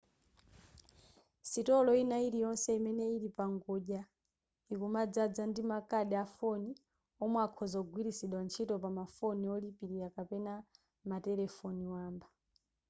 sitolo ina iliyonse imene ili pangodya ikumadzaza ndi makadi a foni omwe akhoza kugwiritsidwa ntchito pama foni olipira kapena matelefoni wamba